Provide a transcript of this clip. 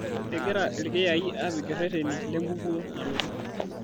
Egira ilkiyai aapik irreteni lenkukuo nalotu